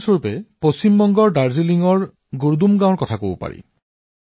যেনে পশ্চিম বংগৰ দাৰ্জিলিংৰ এখন গাওঁ গুৰডুম